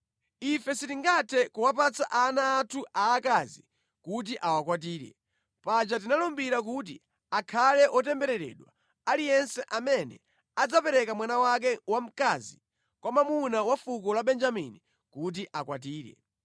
Ife sitingathe kuwapatsa ana anthu aakazi kuti akwatire. Paja tinalumbira kuti, ‘Akhale wotembereredwa aliyense amene adzapereka mwana wake wamkazi kwa mwamuna wa fuko la Benjamini kuti akwatire.’